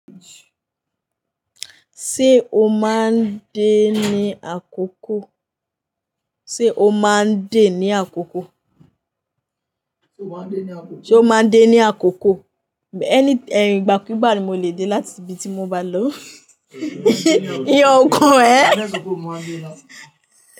Ṣé o máa ń dé ní àkókò? Sé o máa ń dé ní àkókò? Sé o máa ń dé ní àkókò? Any, ẹ̀in, ìgbàkúgbà ni mo lè dé láti ibi tí mo bá lọ. Iyán ọ kàn ẹ. Ní ẹsẹ kòkò o máa ń dé lá.